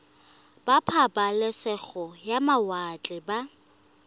ba pabalesego ya mawatle ba